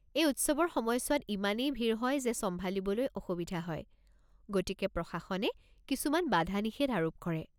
এই উৎসৱৰ সময়ছোৱাত ইমানেই ভিৰ হয় যে চম্ভালিবলৈ অসুবিধা হয়, গতিকে প্ৰশাসনে কিছুমান বাধা-নিষেধ আৰোপ কৰে।